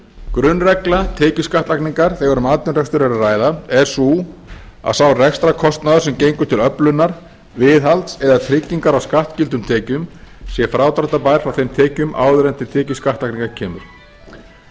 grunnregla tekjuskattlagningar þegar um atvinnurekstur er að ræða er sú að sá rekstrarkostnaðar sem gengur til öflunar viðhalds eða trygginga á skattskyldum tekjum sé frádráttarbær frá þeim tekjum áður en til tekju skattlagningar kemur með